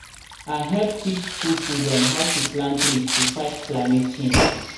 i hep teach school children how to plant trees to fight climate change